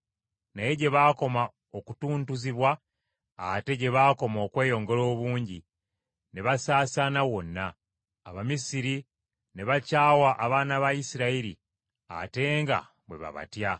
Naye gye baakoma okutuntuzibwa, ate gye baakoma okweyongera obungi, ne basaasaana wonna. Abamisiri ne bakyawa abaana ba Isirayiri ate nga bwe babatya.